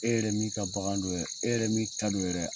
E yɛrɛ min ka bagan don yɛrɛ, e yɛrɛ min ta don yɛrɛ